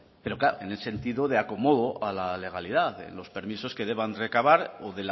en el sentido de acomodo a la legalidad en los permisos que deban recabar o